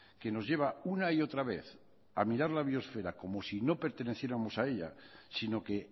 que nos lleva una y otra vez a mirar la biosfera como si no perteneciéramos a ella sino que